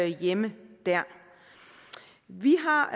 hjemme dér vi har